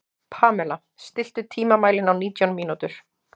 Pamela, stilltu tímamælinn á nítján mínútur.